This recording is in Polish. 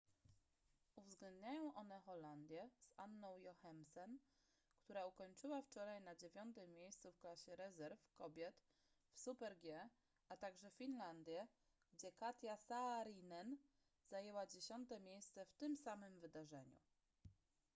uwzględniają one holandię z anną jochemsen która ukończyła wczoraj na dziewiątym miejscu w klasie rezerw kobiet w super-g a także finlandię gdzie katja saarinen zajęła dziesiąte miejsce w tym samym wydarzeniu